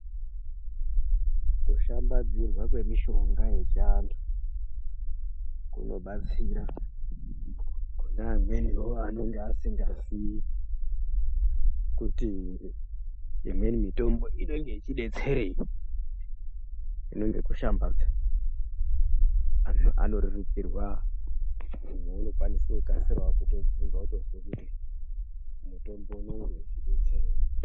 Kushambadzirwa kwemishonga yechiantu kunobatsira kune amweniwo anonga asingazii kuti imweni mitombo inenge ichidetsereiii hino ngekushambadza anhu anorerukirwa umweni unokwanisa kukasirawo kutovhunza otozwa kuti mutombo unenge uchidetsereii.